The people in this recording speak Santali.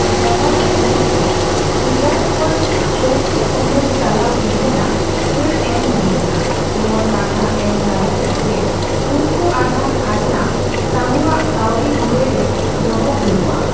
ᱫᱟᱵᱷᱟᱰᱮ ᱜᱩᱴ ᱫᱚ ᱜᱩᱡᱚᱨᱟᱴ ᱠᱷᱚᱱ ᱪᱳᱣᱛᱷᱚ ᱛᱩᱢᱟᱹᱞ ᱪᱟᱞᱟᱣ ᱤᱫᱤ ᱨᱮᱱᱟᱜ ᱪᱷᱟᱹᱲ ᱮᱢ ᱦᱩᱭᱞᱮᱱᱟ ᱱᱚᱣᱟ ᱠᱟᱛᱷᱟ ᱮᱢ ᱛᱟᱞᱟᱛᱮ ᱡᱮ ᱩᱱᱠᱩ ᱟᱫᱷᱟ ᱠᱷᱟᱡᱽᱱᱟ ᱥᱟᱦᱩᱣᱟᱜ ᱠᱟᱹᱣᱰᱤ ᱢᱩᱨᱟᱹᱭ ᱨᱮ ᱫᱚᱦᱚ ᱦᱩᱭᱩᱜᱼᱟ ᱾